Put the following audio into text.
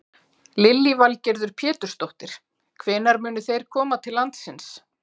Lillý Valgerður Pétursdóttir: Hvenær munu þeir koma til landsins?